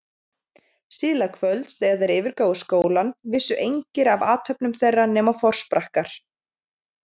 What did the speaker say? Síðla kvölds, þegar þeir yfirgáfu skólann, vissu engir af athöfnum þeirra nema forsprakkar